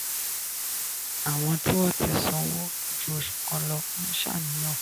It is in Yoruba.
àwọn tí wọ́n ti sanwó ju oṣù kan lọ ń ṣàníyàn.